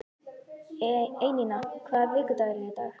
Einína, hvaða vikudagur er í dag?